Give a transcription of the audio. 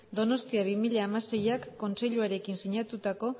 donostia bi mila hamaseik kontseiluarekin sinatutako